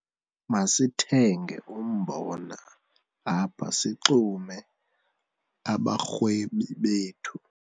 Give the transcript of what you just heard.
Masithenge umbona apha sixume abarhwebi bethu.